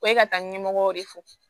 Ko ye ka taa ɲɛmɔgɔ de fɔ